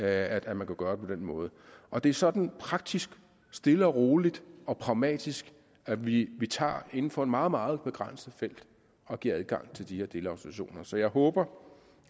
at man kan gøre det på den måde og det er sådan praktisk stille og roligt og pragmatisk at vi inden for et meget meget begrænset felt giver adgang til de her delautorisationer så jeg håber